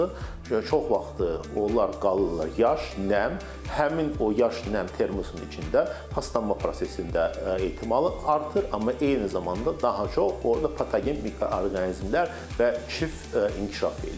Çox vaxt onlar qalırlar yaş, nəm, həmin o yaş nəm termusun içində paslanma prosesində ehtimal artır, amma eyni zamanda daha çox orda patogen mikroorqanizmlər və kif inkişaf eləyir.